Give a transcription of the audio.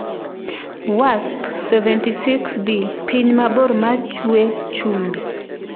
Wasp-76b: Piny mabor ma ‘chwee chumbi’.